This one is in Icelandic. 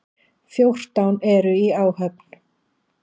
Fjórtán eru í áhöfn.